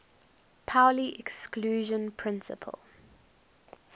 pauli exclusion principle